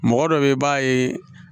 Mɔgɔ dɔ bɛ yen i b'a ye